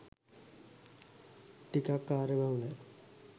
ටිකක් කාර්යයබහුලයි